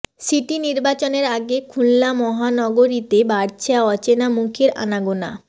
city নির্বাচনের আগে খুলনা মহানগরীতে বাড়ছে অচেনা মুখের আনাগোনা